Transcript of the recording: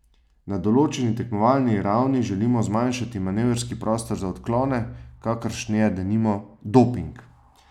Na določeni tekmovalni ravni želimo zmanjšati manevrski prostor za odklone, kakršen je, denimo, doping.